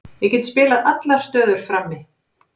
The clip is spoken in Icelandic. Ég get spilað allar stöður frammi.